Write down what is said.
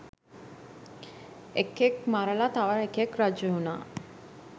එකෙක් මරලා තව එකෙක් රජවුනා